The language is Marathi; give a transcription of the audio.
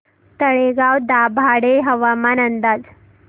तळेगाव दाभाडे हवामान अंदाज